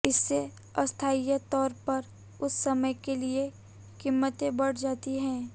इससे अस्थायी तौर पर उस समय के लिए कीमतें बढ़ जाती हैं